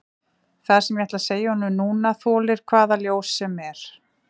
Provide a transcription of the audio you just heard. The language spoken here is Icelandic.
Það sem ég ætla að segja honum núna þolir hvaða ljós sem er.